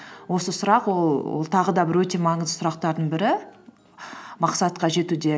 осы сұрақ ол тағы да бір өте маңызды сұрақтардың бірі мақсатқа жетуде